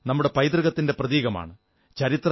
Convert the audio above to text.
കോട്ട നമ്മുടെ പൈതൃകത്തിന്റെ പ്രതീകമാണ്